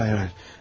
Xeyr, xeyr, xeyr!